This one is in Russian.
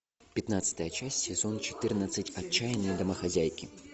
пятнадцатая часть сезон четырнадцать отчаянные домохозяйки